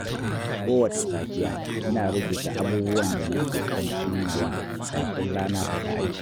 Kowace safiya, ina rubuta abubuwan da nake son cimmawa kafin rana ta ƙare.